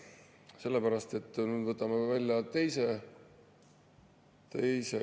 Sellepärast et nüüd võtame välja teise …